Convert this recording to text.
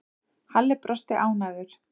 Halli brosti ánægður.